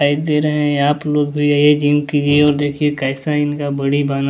आप लोग भी यही जिम कीजिए और देखिए इनका कैसा इनका